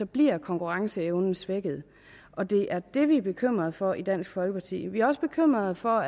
bliver konkurrenceevnen svækket og det er det vi er bekymrede for i dansk folkeparti vi er også bekymrede for